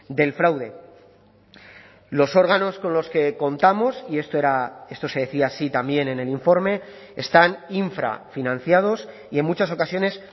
del fraude los órganos con los que contamos y esto era esto se decía así también en el informe están infrafinanciados y en muchas ocasiones